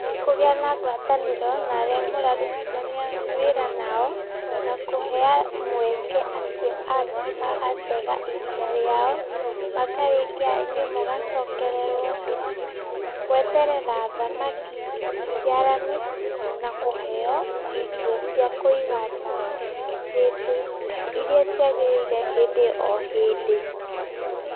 Kũgĩa na ngwatanĩro na arĩa mũrarutithania wĩra nao, na kũhe mweke acio angĩ magatega ihinda rĩao, makarĩkia inyuĩ mũgacokererwo gweterera thamaki ciciarane na kũheyo irio cia kũigana, hĩndĩ, iria ciagĩrĩire hĩndĩ o hĩndĩ.